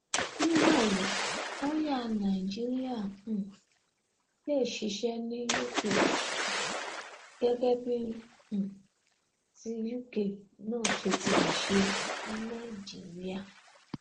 ní báyìí lọọyà nàìjíríà um lè ṣiṣẹ ní uk gẹgẹ bí um ti uk náà ṣe ti lè ṣe ní nàìjíríà